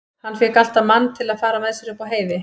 Hann fékk alltaf mann til að fara með sér upp á heiði.